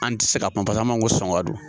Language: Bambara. An ti se ka kuma pasa m'an ko sɔn ka don